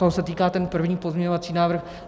Toho se týká ten první pozměňovací návrh.